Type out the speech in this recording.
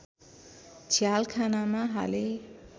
झ्यालखानामा हाले